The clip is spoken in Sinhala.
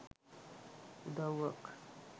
උදව්වක්